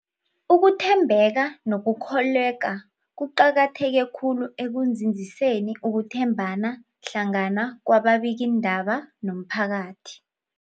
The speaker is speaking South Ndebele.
Ukuthembeka nokukholweka kuqakatheke khulu ekunzinziseni ukuthembana hlangana kwababikiindaba nomphakathi.